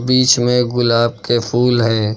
बीच में गुलाब के फूल है।